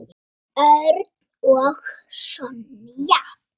Örn og Sonja.